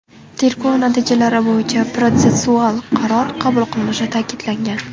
Tergov natijalari bo‘yicha protsessual qaror qabul qilinishi ta’kidlangan.